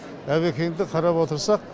әбекеңді қарап отырсақ